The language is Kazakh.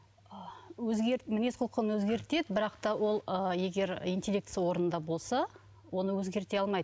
мінез құлқын өзгертеді бірақ та ол ы егер интеллектісі орнында болса оны өзгерте алмайды